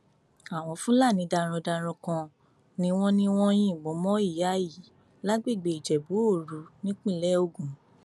àwọn fúlàní darandaran kan ni wọn ní wọn yìnbọn mọ ìyá yìí lágbègbè ìjẹbúòru nípínlẹ ogun